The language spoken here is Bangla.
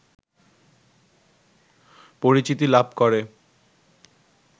পরিচিতি লাভ করে